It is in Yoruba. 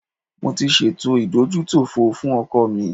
Mo ṣe ètò ìdójútòfò fún ọkọ̀ mi